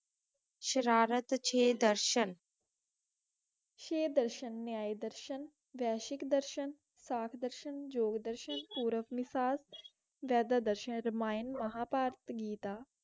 ਸ਼ਰਾਰਤ ਕਵਿਤਾ ਦਰਸਨ ਬਾਦਸ਼ਾਹ ਦੀ ਬਰਬਰਤਾ ਵਿੱਚ ਜਨ ਆਜ ਮਹਾਭਾਰਤ ਜਿੱਤ ਗਿਆ